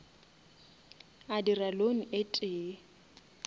a dira loan e tee